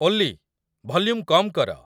ଓଲ୍ଲୀ, volume କମ୍ କର